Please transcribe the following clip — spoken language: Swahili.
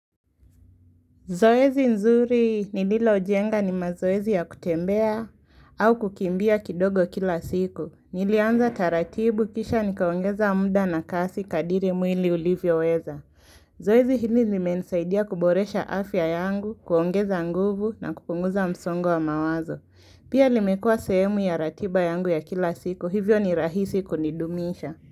Zoezi nzuri nililo jenga ni mazoezi ya kutembea au kukimbia kidogo kila siku. Nilianza taratibu kisha nikaongeza mda na kasi kadiri mwili ulivyo weza. Zoezi hili limenisaidia kuboresha afya yangu, kuongeza nguvu na kupunguza msongo wa mawazo. Pia limekua sehemu ya ratiba yangu ya kila siku, hivyo ni rahisi kunidumisha.